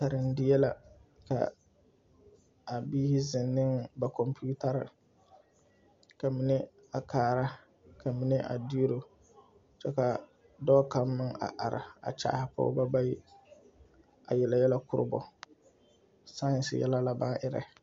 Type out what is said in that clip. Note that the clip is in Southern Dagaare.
Karendie la ka a biiri zeŋ neŋ ba kɔmpetare ka mine a kaara ka mine dioro kyɛ ka dɔɔ kaŋ meŋ a are a kyaare a pɔgeba bayi a yele yɛlɛ koro ba saaese yɛlɛ la baŋ erɛ.